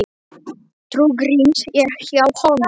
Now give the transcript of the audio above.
Trú Gríms er hjá honum.